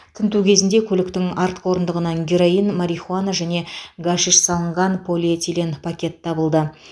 тінту кезінде көліктің артқы орындығынан героин марихуана және гашиш салынған полиэтилен пакет табылды